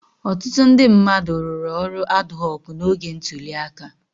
Ọtụtụ ndị mmadụ rụrụ ọrụ adhọọkụ́ n'oge ntuli aka.